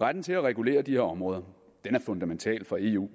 retten til at regulere de her områder er fundamental for eu